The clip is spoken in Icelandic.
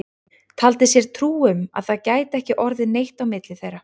Taldi sér trú um að það gæti ekki orðið neitt á milli þeirra.